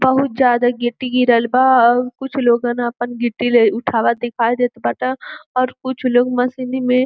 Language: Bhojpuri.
बहुत जादा गिट्टी गिरल बा औ कुछ लोगन आपन गिट्टी रे उठावत दिखाई देत बाट और कुछ लोग मशीनी में --